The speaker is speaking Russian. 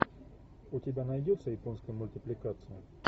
у тебя найдется японская мультипликация